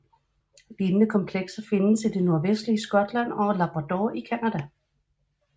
Lignende komplekser findes i det nordvestlige Skotland og Labrador i Canada